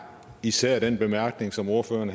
især den bemærkning som ordføreren